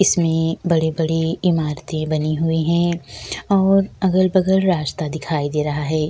इसमे बड़ी-बड़ी इमारतें बनी हुई है और अगल-बगल राश्ता दिखाई दे रहा है।